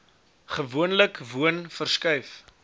gewoonlik woon verskuif